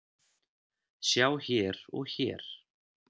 Sjá hér og hér.